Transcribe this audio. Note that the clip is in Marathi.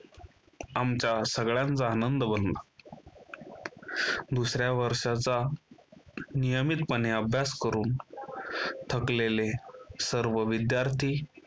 आमचा सगळ्यांचा आनंद बनला दुसऱ्या वर्षाचा नियमितपणे अभ्यास करून थकलेले सर्व विद्यार्थी